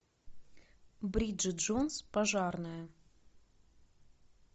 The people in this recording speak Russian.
бриджет джонс пожарная